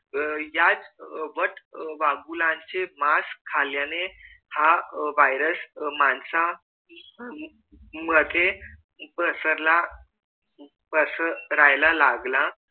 अह याच वट वाघुळाचे मास खाल्याने हा virus माणसामध्ये पसरला पसरायला लागला